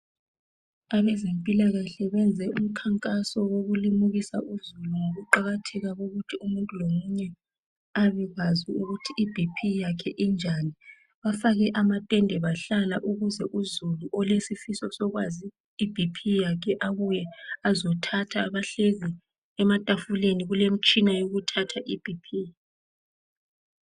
Abezempilakahle benze umkhankaso wokulimukisa uzulu ngokuqakatheka kokuthi umuntu lomunye abekwazi ukuthi ibp yakhe injani. Bafake amathende bahlala ukuze uzulu olesisifiso sokwazi ibp yakhe abuye azothatha bahleli ematafuleni kulemitshina yokuthatha ibp.